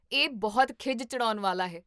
ਇਹ ਬਹੁਤ ਖਿਝ ਚੜ੍ਹਾਉਣ ਵਾਲਾ ਹੈ!